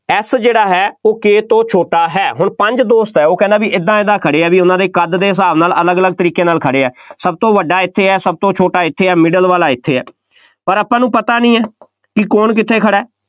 F ਜਿਹੜਾ ਹੈ ਉਹ K ਤੋ ਛੋਟਾ ਹੈ, ਹੁਣ ਪੰਜ ਦੋਸਤ ਹੈ, ਉਹ ਕਹਿੰਦਾ ਬਈ ਏਦਾਂ ਏਦਾਂ ਖੜ੍ਹੇ ਆ, ਬਈ ਉਹਨਾ ਦੇ ਕੱਦ ਦੇ ਹਿਸਾਬ ਦੇ ਨਾਲ ਅਲੱਗ ਅਲੱਗ ਤਰੀਕੇ ਨਾਲ ਖੜ੍ਹੇ ਹੈ, ਸਭ ਤੋਂ ਵੱਡਾ ਇੱਥੇ ਹੈ, ਸਭ ਤੋਂ ਛੋਟਾ ਇੱਥੇ ਹੈ, middle ਵਾਲਾ ਇੱਥੇ ਹੈ, ਪਰ ਆਪਾਂ ਨੂੰ ਪਤਾ ਨਹੀਂ ਹੈ ਕਿ ਕੌਣ ਕਿੱਥੇ ਖੜ੍ਹਾ ਹੈ।